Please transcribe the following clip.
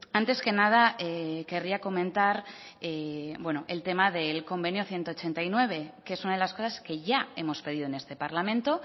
antes que nada querría comentar el tema del convenio ciento ochenta y nueve que es una de las cosas que ya hemos pedido en este parlamento